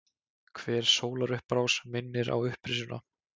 Hver sólarupprás minnir á upprisuna.